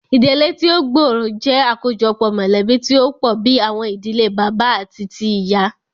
Ìdílé tí o gbóòrò jẹ́ àkójọpọ̀ mọ̀lẹ̀bí tí o pọ̀ bìí àwọn ìdílé bàbá àti tíì ìyá.